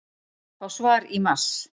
Fá svar í mars